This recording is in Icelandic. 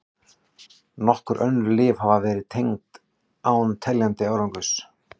Nokkur önnur lyf hafa verið reynd án teljandi árangurs.